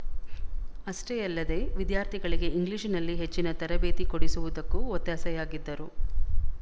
ಅಷ್ಟೇ ಯಲ್ಲದೆ ವಿದ್ಯಾರ್ಥಿಗಳಿಗೆ ಇಂಗ್ಲಿಶಿನಲ್ಲಿ ಹೆಚ್ಚಿನ ತರಬೇತಿಕೊಡಿಸುವುದಕ್ಕೂ ಒತ್ತಾಸೆಯಾಗಿದ್ದರು